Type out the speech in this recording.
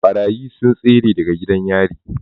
Ɓarayi sun tsere daga gidan yari